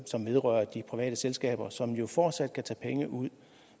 som vedrører de private selskaber som jo fortsat kan tage penge ud